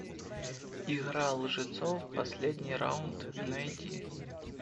игра лжецов последний раунд найди